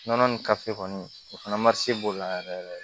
Nɔnɔ ni kɔni o fana b'o la yɛrɛ yɛrɛ